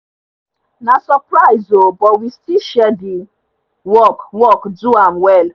na surprise o but we still share the work work do am well